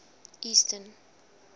eastern